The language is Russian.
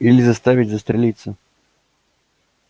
или заставить застрелиться